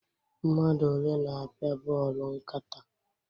Mmadụ ole na-apịa bọọlụ nkata?